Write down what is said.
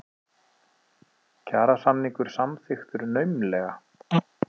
Kjarasamningur samþykktur naumlega